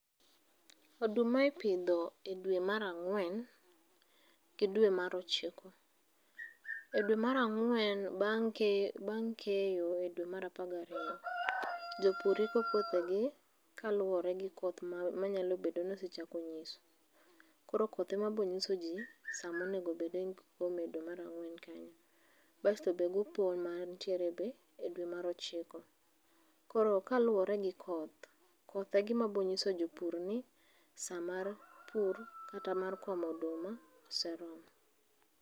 Oduma ipidho e dwe mar angwen gi dwe mar ochiko.E dwe mar angwen bang keyo, bang keyo e dwe mar 12,jopur iko puothegi kaluore gi koth manyalo bedo ni osechako nyiso. Koro koth ema bonyiso jii sama onego bed ni gikome e dwe mar angwen kanyo basto be gi opon mantiere be e dwe mar ochiko. Koro kaluore gi koth, koth egima bonyiso jii ni saa mar pur kata mar komo oduma oseromo